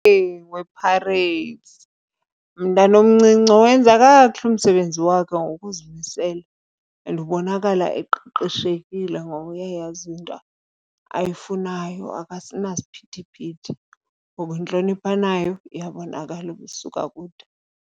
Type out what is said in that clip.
wePirates, umntana omncinci owenza kakuhle umsebenzi wakhe ngokuzimisela. And ubonakala eqeqeshekile ngoba uyayazi into ayifunayo akasenasiphithiphithi, ngoba intlonipho anayo iyabonakala uba isuka kude.